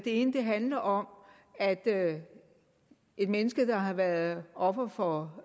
ene handler om at et menneske der har været offer for